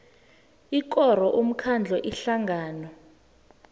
ikoro umkhandlu ihlangano